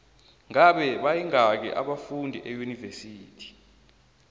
ngabe bayingaki abafundi eunivesithi